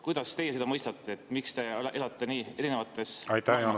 Kuidas teie seda mõistate, miks te elate nii erinevates maailmades?